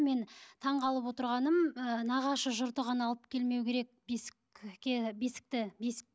мен таңғалып отырғаным ы нағашы жұрты ғана алып келмеу керек бесікке бесікті бесік